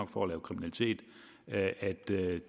for at lave kriminalitet at